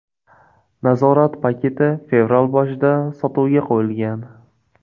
Nazorat paketi fevral boshida sotuvga qo‘yilgan .